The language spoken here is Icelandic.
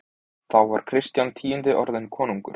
Þá var Kristján tíundi orðinn konungur.